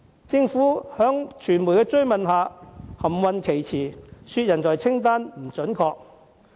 政府在傳媒追問下含糊其詞，指報道的人才清單並不準確。